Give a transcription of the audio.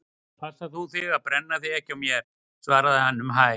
Passa þú þig að brenna þig ekki á mér- svaraði hann um hæl.